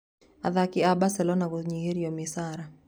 Athaki a Baselona kũnyihĩrio micara.